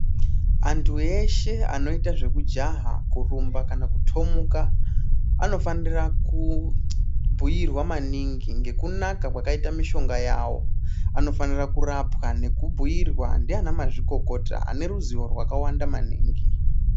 Antu eshe anoita zvekujaha kurumba kana kutomuka anofanira kubhuirwa maningi ngekunaka kwakaitwa mishonga yawo anofanira kurapwa nekubhuirwa ndivana mazvikokota vane ruzivo rakawanda maningi.